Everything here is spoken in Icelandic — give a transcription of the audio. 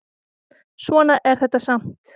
Svona er þetta samt.